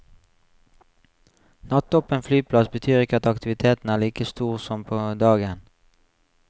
Nattåpen flyplass betyr ikke at aktiviteten er like stor som på dagen.